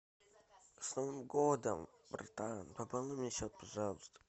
с новым годом братан пополни мне счет пожалуйста